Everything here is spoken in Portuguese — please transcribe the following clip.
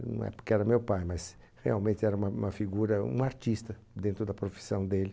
Não é porque era meu pai, mas realmente era uma uma figura, um artista dentro da profissão dele.